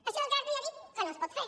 això que artadi ja ha dit que no es pot fer